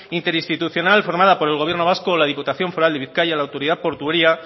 interinstitucional formada por el gobierno vasco la diputación foral de bizkaia la autoridad portuaria